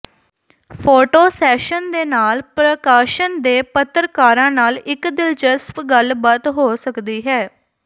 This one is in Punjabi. ਫੋਟੋ ਸੈਸ਼ਨ ਦੇ ਨਾਲ ਪ੍ਰਕਾਸ਼ਨ ਦੇ ਪੱਤਰਕਾਰਾਂ ਨਾਲ ਇਕ ਦਿਲਚਸਪ ਗੱਲਬਾਤ ਹੋ ਸਕਦੀ ਹੈ